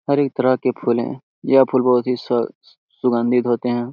हरेक तरह के फूल है यह फूल बहुत ही स स-सुगंधित होते है।